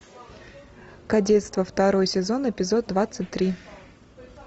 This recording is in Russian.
кадетство второй сезон эпизод двадцать три